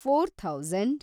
four thousand